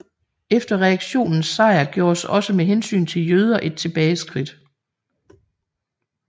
Efter reaktionens sejr gjordes også med hensyn til jøder et tilbageskridt